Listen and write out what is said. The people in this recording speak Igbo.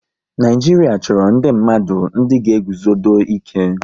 Naijiria chọrọ ndị mmadụ ndị ga eguzodo ike